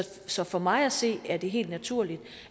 så for mig at se er det helt naturligt